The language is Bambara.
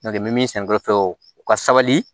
N'o tɛ n bɛ min sɛnɛ dɔrɔn fɛ u ka sabali